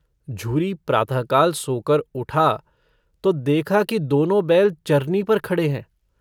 झूरो प्रातःकाल सोकर उठा तो देखा कि दोनों बैल चरनी पर खड़े हैं।